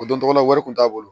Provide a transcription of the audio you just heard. O don tɔgɔ la wari kun t'a bolo